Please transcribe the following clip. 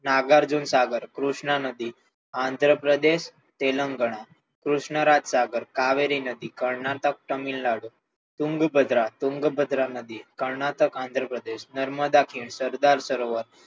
નાગાર્જુન કૃષ્ણ નદી આંધ્રપ્રદેશ તેલંગાણા કૃષ્ણ રાજસાગર કાવેરી નદી કર્ણાટક તામિલનાડુ કુંડુ પધરા કુંડુ પધરા નદી કર્ણાટક આંધ્ર પ્રદેશ નર્મદા ખીણ સરદાર સરોવર